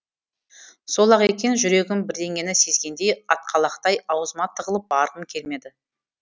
сол ақ екен жүрегім бірдеңені сезгендей атқалақтай аузыма тығылып барғым келмеді